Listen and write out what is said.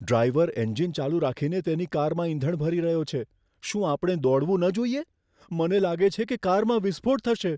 Driver engine ચાલુ રાખીને તેની કારમાં ઇંધણ ભરી રહ્યો છે. શું આપણે દોડવું ન જોઈએ? મને લાગે છે કે કારમાં વિસ્ફોટ થશે.